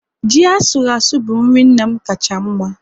Ji asuru asụ bụ nri nna m kacha mma